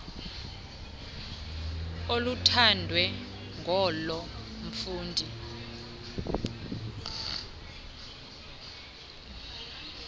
oluthandwe nguloo mfundi